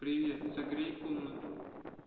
привет согрей комнату